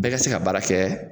Bɛɛ ga se ka baara kɛ